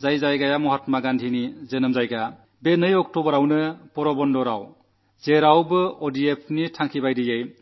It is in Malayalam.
അതായത് മഹാത്മാഗാന്ധിയുടെ ജന്മസ്ഥലം ഈ ഒക്ടോബർ രണ്ടിന് പൂർണ്ണമായും ഓഡിഎഫ് ആക്കും എന്നാണ്